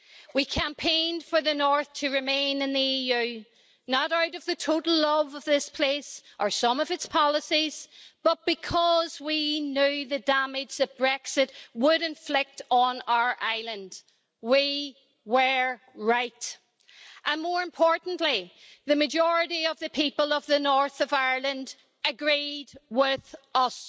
We campaigned for the North to remain in the EU, not out of the total love of this place or some of its policies, but because we knew the damage that Brexit would inflict on our island. We were right. More importantly, the majority of the people of the north of Ireland agreed with us.